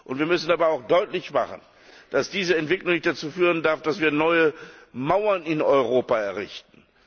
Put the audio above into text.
Wir müssen dabei auch deutlich machen, dass diese Entwicklung nicht dazu führen darf, dass wir neue Mauern in Europa errichten.